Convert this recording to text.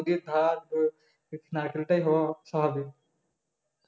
নদীর ধার তো নারকেলটাই হওয়া স্বাভাবিক